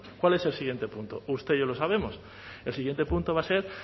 cuál es el siguiente punto usted y yo lo sabemos el siguiente punto va a ser